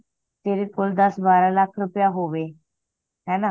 ਤੇਰੇ ਕੋਲ ਦੱਸ ਬਾਰਹ ਲੱਖ ਰੁਪਯਾ ਹੋਵੇ ਹੈਨਾ